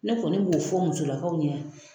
Ne kɔni b'o fɔ musolakaw ɲɛ